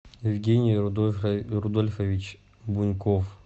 евгений рудольфович буньков